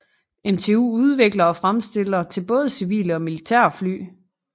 MTU udvikler og fremstiller til både civile og militære fly